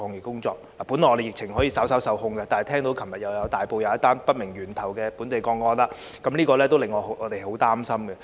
我們的疫情本來可以稍稍受控，但大埔昨天又出現一宗不明源頭的本地個案，令我們很擔心。